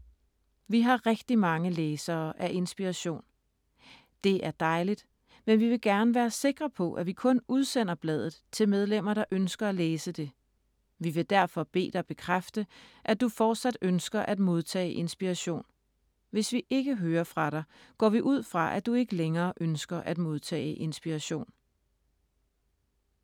Vi har rigtig mange læsere af Inspiration. Det er dejligt, men vi vil gerne være sikre på, at vi kun udsender bladet til medlemmer, der ønsker at læse det. Vi vil derfor bede dig bekræfte, at du fortsat ønsker at modtage Inspiration. Hvis vi ikke hører fra dig, går vi ud fra, at du ikke længere ønsker at modtage Inspiration.